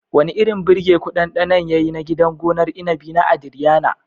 Wani irin birgeku ɗanɗanon yayi na gidan gonar inabi na "Adrianna"?